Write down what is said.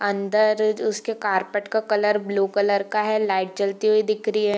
अंदर उसके कारपेट का कलर ब्लू कलर का है लाइट जलती हुई दिख रही है।